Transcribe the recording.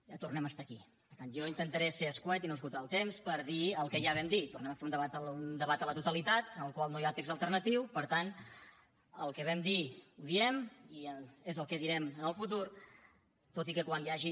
ja tornem a estar aquí per tant jo intentaré ser concís i no esgotar el temps per dir el que ja vam dir tornem a fer un debat a la totalitat al qual no hi ha text alternatiu per tant el que vam dir ho diem i és el que direm en el futur tot i que quan hi hagi